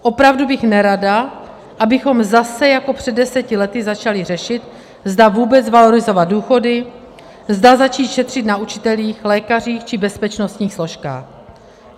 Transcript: Opravdu bych nerada, abychom zase jako před deseti lety začali řešit, zda vůbec valorizovat důchody, zda začít šetřit na učitelích, lékařích či bezpečnostních složkách.